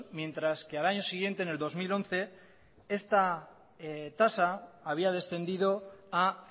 mientras que al año siguiente en el dos mil once esta tasa había descendido a